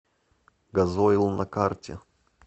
газойл на карте